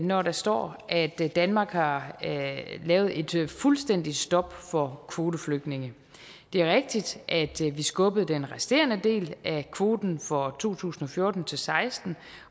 når der står at danmark har lavet et fuldstændigt stop for kvoteflygtninge det er rigtigt at vi skubbede den resterende del af kvoten for to tusind og fjorten til seksten